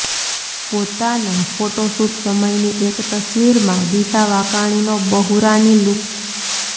પોતાના ફોટોશૂટ સમયની એક તસવીરમાં દિશા વાકાણીનો બહુરાની લૂક્સ